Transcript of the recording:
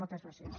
moltes gràcies